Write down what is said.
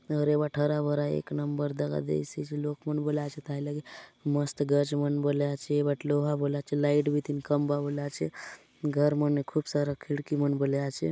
आउर ये बाटे हरा-भरा एक नंबर दखा देयसि आचे लोक मन बले आचेत हय लगे मस्त गच मन बले आचे ए बाटे लोहा मन बले आचे लाइट बीतिन खंबा बले आचे घर मने खूब सारा खिड़की मन बले आचे।